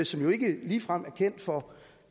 som jo ikke ligefrem er kendt for